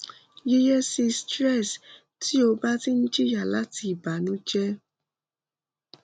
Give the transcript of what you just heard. yiyesi stress ti o ba ti n jiya lati ibanujẹ